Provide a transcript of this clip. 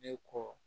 I kɔ